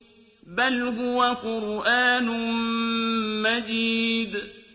بَلْ هُوَ قُرْآنٌ مَّجِيدٌ